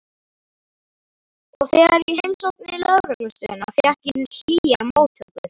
Og þegar ég heimsótti lögreglustöðina fékk ég hlýjar móttökur.